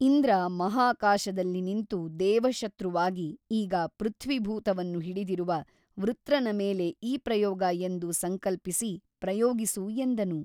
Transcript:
ಇಂದ್ರ ಮಹಾಕಾಶದಲ್ಲಿ ನಿಂತು ದೇವಶತ್ರುವಾಗಿ ಈಗ ಪೃಥ್ವಿಭೂತವನ್ನು ಹಿಡಿದಿರುವ ವೃತ್ರನ ಮೇಲೆ ಈ ಪ್ರಯೋಗ ಎಂದು ಸಂಕಲ್ಪಿಸಿ ಪ್ರಯೋಗಿಸು ಎಂದನು.